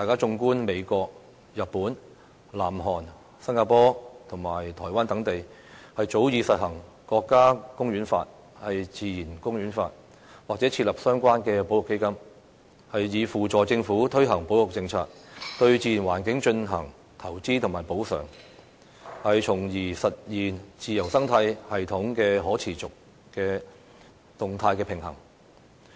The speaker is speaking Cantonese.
綜觀美國、日本、南韓、新加坡及台灣等地，早已實行《國家公園法》、《自然公園法》，或設立相關的保育基金，以扶助政府推行保育政策，對自然環境進行投資及補償，從而實現自然生態系統可持續的動態平衡。